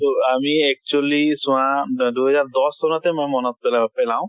তʼ আমি actually চোৱা দ দুই হেজাৰ দশ চনতে মই মনত পেলাব পেলাও।